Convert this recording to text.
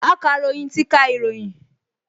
Akàròyìn ti ka ìròyìn